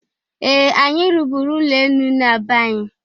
Ee! Anyị rụbụrụ ụlọ enu na be anyị.